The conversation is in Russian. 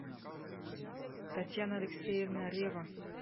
татьяна алексеевна рева